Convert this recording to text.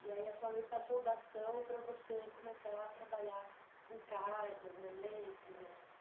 E aí a sua mãe passou o bastão para você começar a trabalhar com cartas, né, ler e escrever.